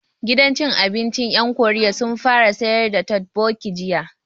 Gidan cin abincin ƴan Koriya sun fara sayar da totbokki jiya